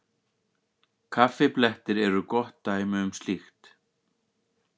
Kaffiblettir eru gott dæmi um slíkt.